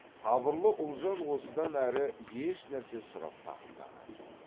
сабырлы ұлжан осыдан әрі ешнәрсе сұрап тақымдаған жоқ